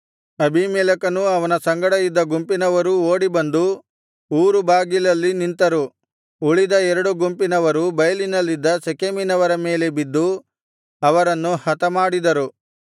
ಅಬೀಮೆಲೆಕನೂ ಅವನ ಸಂಗಡ ಇದ್ದ ಗುಂಪಿನವರೂ ಓಡಿ ಬಂದು ಊರು ಬಾಗಿಲಲ್ಲಿ ನಿಂತರು ಉಳಿದ ಎರಡು ಗುಂಪಿನವರು ಬೈಲಿನಲ್ಲಿದ್ದ ಶೆಕೆಮಿನವರ ಮೇಲೆ ಬಿದ್ದು ಅವರನ್ನು ಹತಮಾಡಿದರು